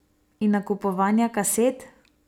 In nakupovanja kaset?